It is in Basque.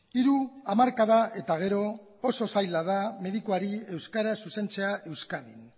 hiru hamarkada eta gero oso zaila da medikuari euskaraz zuzentzea euskadin